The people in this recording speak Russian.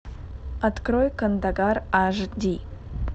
открой кандагар аш ди